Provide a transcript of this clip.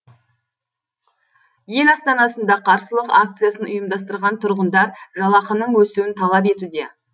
ел астанасында қарсылық акциясын ұйымдастырған тұрғындар жалақының өсуін талап етуде